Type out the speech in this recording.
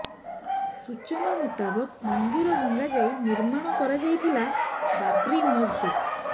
ସୂଚନା ମୁତାବକ ମନ୍ଦିର ଭଙ୍ଗାଯାଇ ନିର୍ମାଣ କରାଯାଇଥିଲା ବାବ୍ରୀ ମସଜିଦ